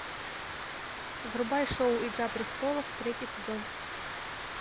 врубай шоу игра престолов третий сезон